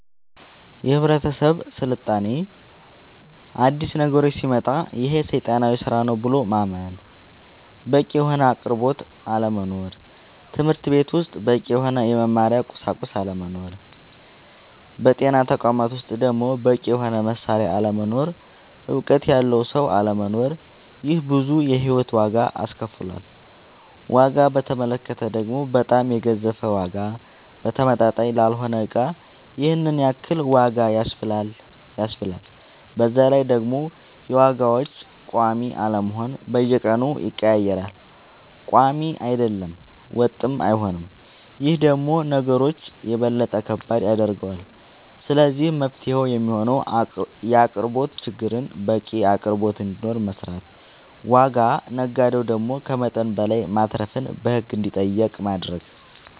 የህብረተሰብ ስልጣኔ አዲስ ነገሮች ሲመጣ ይሄ ሴጣናዊ ስራ ነው ብሎ ማመን በቂ የሆነ አቅርቦት አለመኖር ትምህርትቤት ውስጥ በቂ የሆነ የመማሪያ ቁሳቁስ አለመኖር በጤና ተቋማት ውስጥ ደሞ በቂ የሆነ መሳሪያ አለመኖር እውቀት ያለው ሰው አለመኖር ይሄ ብዙ የሂወት ዋጋ አስከፍሎል ዋጋ በተመለከተ ደሞ በጣም የገዘፈ ዋጋ ተመጣጣኝ ላልሆነ እቃ ይሄንን ያክል ዋጋ ያስብላል በዛላይ ደሞ የዋጋዎች ቆሚ አለመሆን በየቀኑ ይቀያየራል ቆሚ አይደለም ወጥም አይሆንም ይሄ ደሞ ነገሮች የበለጠ ከባድ ያደርገዋል ስለዚህ መፍትሄው የሚሆነው የአቅርቦት ችግርን በቂ አቅርቦት እንዲኖር መስራት ዋጋ ነጋዴው ደሞ ከመጠን በላይ ማትረፍን በህግ እንዲጠየቅ ማረግ